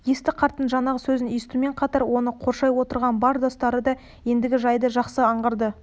есті қарттың жаңағы сөзін естумен қатар оны қоршай отырған бар достары да ендігі жайды жақсы аңғарды